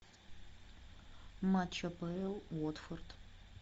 матч апл уотфорд